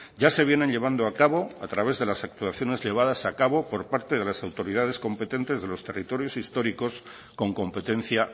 ya se vienen llevando a cabo a través de las actuaciones llevadas a cabo por parte de las autoridades competentes de los territorios históricos con competencia